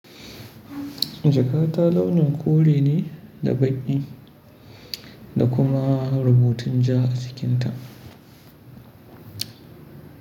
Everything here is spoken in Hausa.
Jakata launin kore ne da baƙi da kuma rubutun ja a jikinta.